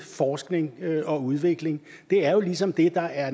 forskning og udvikling det er jo ligesom det der er